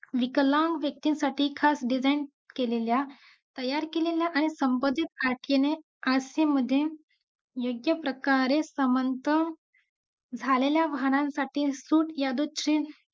मी खरं तर non veg मध्ये होती non veg section ला त्यामुळे मला जास्त करून non veg section चा experience जस की non veg मध्ये penta कश्या cook करायच्या. Boiler असतो burger king च्या heart मध्ये boiler ला ओळखलं जातं.